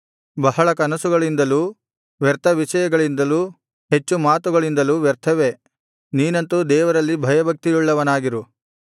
ಬಹಳ ಕನಸುಗಳಿಂದಲೂ ವ್ಯರ್ಥ ವಿಷಯಗಳಿಂದಲೂ ಹೆಚ್ಚು ಮಾತುಗಳಿಂದಲೂ ವ್ಯರ್ಥವೇ ನೀನಂತೂ ದೇವರಲ್ಲಿ ಭಯಭಕ್ತಿಯುಳ್ಳವನಾಗಿರು